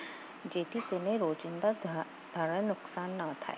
જેથી કોઈને રોજિંદા ધાર ધારણ નુકસાન ના થાય